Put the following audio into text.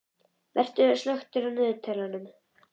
Vera, slökktu á niðurteljaranum.